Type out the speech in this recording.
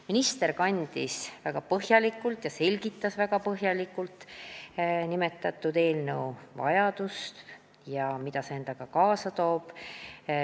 Minister selgitas väga põhjalikult nimetatud eelnõu vajadust ja seda, mida see endaga kaasa toob.